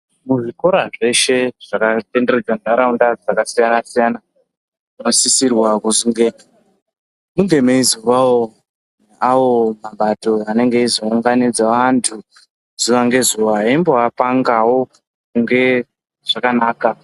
Muzvikora zveshe zvakatenderedza nharaunda dzakasiyana-siyana munosisirwa kuzonge munge meizovawo awo mapato anenge eizounganidze vantu zuva ngezuva eimbovapangawo ngezvakanaka.